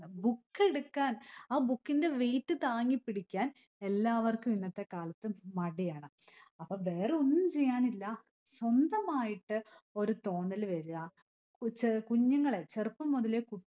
book എടുക്കാൻ ആ book ഇന്റെ weight താങ്ങിപ്പിടിക്കാൻ എല്ലാവർക്കും ഇന്നത്തെ കാലത് മടിയാണ്. അപ്പൊ വേറൊന്നും ചെയ്യാനില്ല. സ്വന്തമായിട്ട് ഒരു തോന്നല് വര, ഉച്ച കുഞ്ഞുകളെ ചെറുപ്പം മുതലേ കു